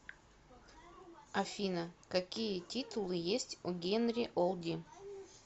афина какие титулы есть у генри олди